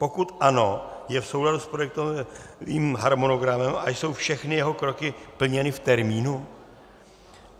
Pokud ano, je v souladu s projektovým harmonogramem a jsou všechny jeho kroky plněny v termínu?